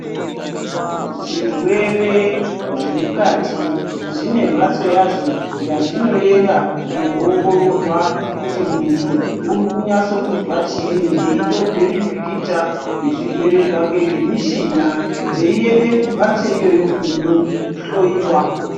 Zvirwere zvemukati, zvinembatso yazvo yazvinoyenda kunowongororwa kuti muntu urikunyatso kunzva chini, eyitorwe mipikicha ezvirwere zvake ngemichina, dzeyiyende kumbatso iyoyo kuno hloyiwa.